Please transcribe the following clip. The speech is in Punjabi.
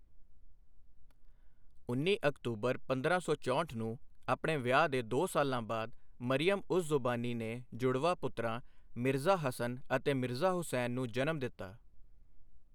ਉੱਨੀ ਅਕਤੂਬਰ ਪੰਦਰਾਂ ਸੌ ਚੋਂਹਠ ਨੂੰ, ਆਪਣੇ ਵਿਆਹ ਦੇ ਦੋ ਸਾਲਾਂ ਬਾਅਦ, ਮਰੀਅਮ ਉਜ਼ ਜ਼ਮਾਨੀ ਨੇ ਜੁੜਵਾਂ ਪੁੱਤਰਾਂ, ਮਿਰਜ਼ਾ ਹਸਨ ਅਤੇ ਮਿਰਜ਼ਾ ਹੁਸੈਨ ਨੂੰ ਜਨਮ ਦਿੱਤਾ।